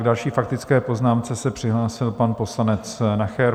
K další faktické poznámce se přihlásil pan poslanec Nacher.